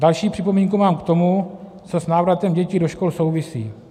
Další připomínku mám k tomu, co s návratem dětí do škol souvisí.